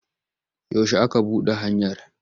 Yaushe aka buɗe hanyar?